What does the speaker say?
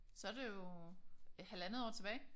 Så det jo halvandet år tilbage